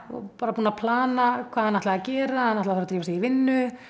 bara búin að plana hvað hann ætlaði að gera hann ætlaði að fara drífa sig í vinnu